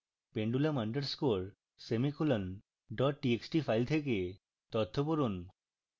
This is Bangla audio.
pendulum underscore semicolon dot txt file থেকে তথ্য পড়ুন